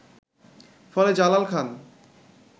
ফলে জালাল খান